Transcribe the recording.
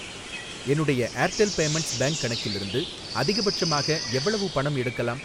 என்னுடைய Airtel Payments Bank கணக்கிலிருந்து அதிகபட்சமாக எவ்வளவு பணம் எடுக்கலாம்?